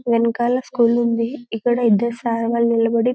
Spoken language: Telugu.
వెనకాల స్కూల్ ఉంది ఇక్కడ ఇద్దరు సార్లు వాళ్లు నిలబడి --